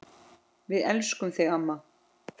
Við elskum þig amma.